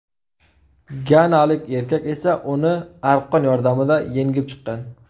Ganalik erkak esa uni arqon yordamida yengib chiqqan.